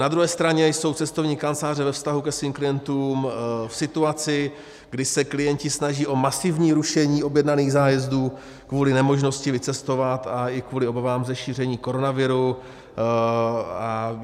Na druhé straně jsou cestovní kanceláře ve vztahu ke svým klientům v situaci, kdy se klienti snaží o masivní rušení objednaných zájezdů kvůli nemožnosti vycestovat i kvůli obavám ze šíření koronaviru.